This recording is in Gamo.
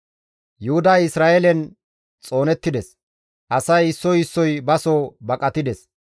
Yuhuday Isra7eelen xoonettides; asay issoy issoy baso baso baqatides.